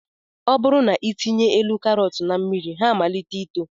Ọ bụrụ na ị tinye elu karọt na mmiri ha na-amalite ito